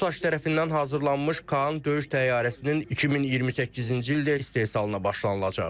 TUSAŞ tərəfindən hazırlanmış KAAN döyüş təyyarəsinin 2028-ci ildə istehsalına başlanılacaq.